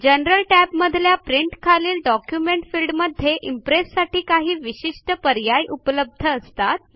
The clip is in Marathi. जनरल टॅब मधल्या प्रिंट खालील डॉक्युमेंट फिल्डमध्ये इम्प्रेससाठी काही विशिष्ठ पर्याय उपलब्ध असतात